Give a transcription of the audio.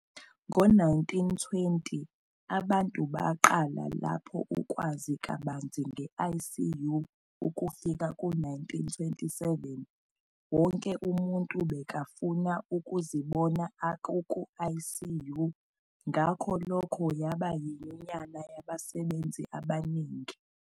Ngo1920 abantu baqala lapho ukwazi lubanzi nge ICU ukufika ngo1927, wonke umuntu bekafuna ukuzibona akuku ICU ngakho lokho yabayiyunya yabasebenzi abanengi.